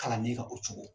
Kalanden kan o cogo di